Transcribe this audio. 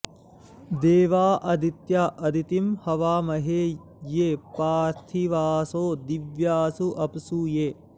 दे॒वाँ आ॑दि॒त्याँ अदि॑तिं हवामहे॒ ये पार्थि॑वासो दि॒व्यासो॑ अ॒प्सु ये